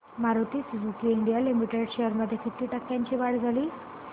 Maruti Suzuki India limited shares मध्ये किती टक्क्यांची वाढ झाली